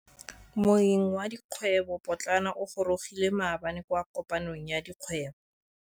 Moêng wa dikgwêbô pôtlana o gorogile maabane kwa kopanong ya dikgwêbô.